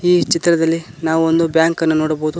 ಈ ಚಿತ್ರದಲ್ಲಿ ನಾವು ಒಂದು ಬ್ಯಾಂಕ್ ಅನ್ನು ನೋಡಬಹುದು.